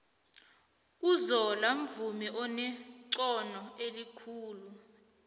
uzola mvumi onexhono elinengi